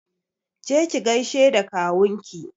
Je ki gaishe da kawunki!